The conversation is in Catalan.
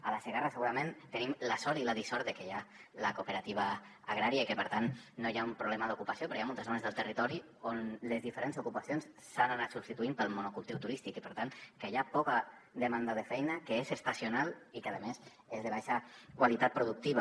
a la segarra segurament tenim la sort i la dissort de que hi ha la cooperativa agrària i per tant no hi ha un problema d’ocupació però hi ha moltes zones del territori on les diferents ocupacions s’han anat substituint pel monocultiu turístic i per tant hi ha poca demanda de feina que és estacional i que a més és de baixa qualitat productiva